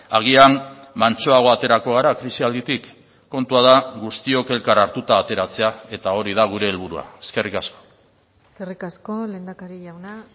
agian mantsoago aterako gara krisialditik kontua da guztiok elkar hartuta ateratzea eta hori da gure helburua eskerrik asko eskerrik asko lehendakari jauna